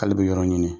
K'ale bɛ yɔrɔ ɲini